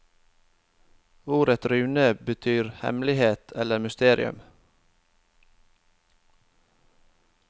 Ordet rune betyr hemmelighet eller mysterium.